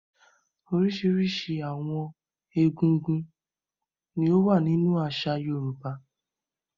Oríṣiríṣi àwọn egúngún ni ó wà nínú àṣà Yorùbá.